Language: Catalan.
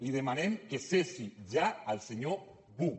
li demanem que cessi ja el senyor buch